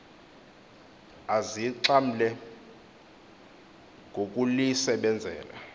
azixha mle ngokulisebenzela